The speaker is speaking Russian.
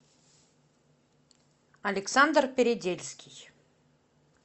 александр передельский